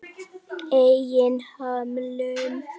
Eigin hömlum.